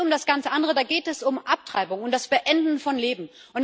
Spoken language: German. Da geht es nicht um das ganze Andere, da geht es um Abtreibung, um das Beenden von Leben.